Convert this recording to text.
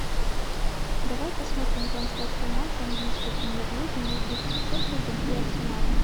давай посмотрим трансляцию матча английской премьер лиги между шеффилдом и арсеналом